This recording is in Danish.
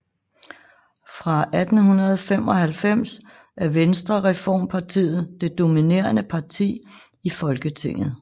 Fra 1895 er Venstrereformpartiet det dominerende parti i Folketinget